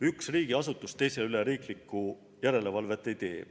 Üks riigiasutus teise üle riiklikku järelevalvet ei tee.